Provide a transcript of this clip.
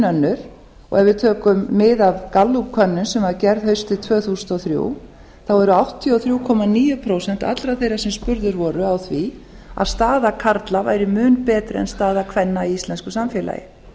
og ef við tökum mið af gallup könnun sem var gerð haustið tvö þúsund og þrjú eru áttatíu og þrjú komma níu prósent allra þeirra sem spurðir voru að því að staða karla væri mun betri en staða kvenna í íslensku samfélagi